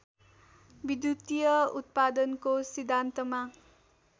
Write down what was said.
विद्युतीय उत्पादनको सिद्धान्तमा